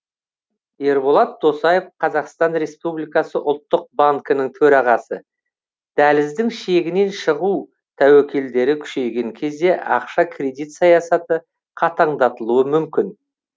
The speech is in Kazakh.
ерболат досаев қазақстан республикасы ұлттық банкінің төрағасы дәліздің шегінен шығу тәуекелдері күшейген кезде ақша кредит саясаты қатаңдатылуы мүмкін